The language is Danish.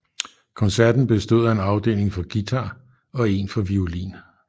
Koncerten bestod af en afdeling for guitar og en for violin